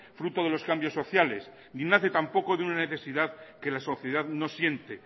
fruto de los cambios sociales ni nace tampoco de una necesidad que la sociedad no siente